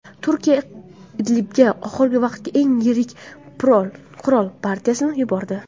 Turkiya Idlibga oxirgi vaqtdagi eng yirik qurol partiyasini yubordi.